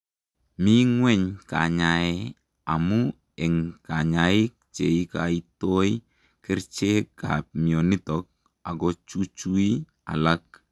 Mii ngweny kanyae amuu eng kanyaik cheikaitoi kericheek ap mionitok akochuchui alak